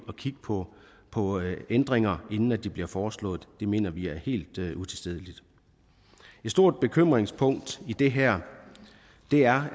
at kigge på på ændringer inden de bliver foreslået det mener vi er helt utilstedeligt et stor bekymringspunkt i det her er